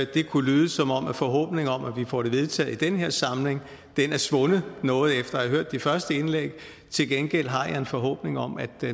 det kunne lyde som om forhåbningen om at vi får det vedtaget i den her samling er svundet noget efter har hørt de første indlæg her til gengæld har jeg en forhåbning om at